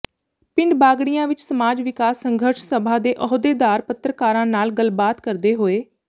ਪਿੰਡ ਬਾਗੜੀਆਂ ਵਿੱਚ ਸਮਾਜ ਵਿਕਾਸ ਸੰਘਰਸ਼ ਸਭਾ ਦੇ ਅਹੁਦੇਦਾਰ ਪੱਤਰਕਾਰਾਂ ਨਾਲ ਗੱਲਬਾਤ ਕਰਦੇ ਹੋਏ